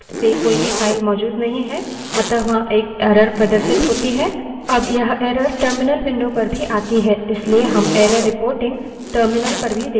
अब यह error terminal window पर भी आती है इसलिए हम error reporting terminal पर भी देखते हैं